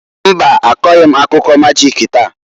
Mbaǃ Akọghị m akụkọ majịk taa.